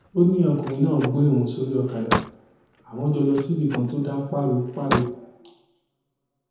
ó ní ọkùnrin náà gbé òun sórí ọkadà àwọn jọ lọ síbì kan tó dá páropáro